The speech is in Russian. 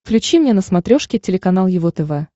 включи мне на смотрешке телеканал его тв